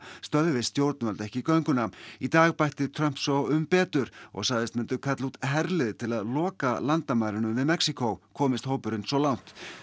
stöðvi stjórnvöld ekki gönguna í dag bætti Trump svo um betur og sagðist myndu kalla út herlið til að loka landamærunum við Mexíkó komist hópurinn svo langt